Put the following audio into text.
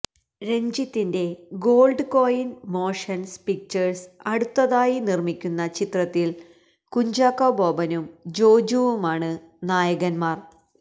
രഞ്ജിത്തിന്റെ Gold Coin Motion Pictures അടുത്തതായി നിര്മ്മിക്കുന്ന ചിത്രത്തില് കുഞ്ചാക്കോ ബോബനും ജോജുവുമാണ് നായകന്മാര്